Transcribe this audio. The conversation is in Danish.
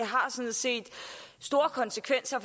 har sådan set store konsekvenser